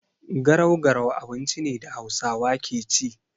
Garau-garau abinci ne da Hausawa ke ci.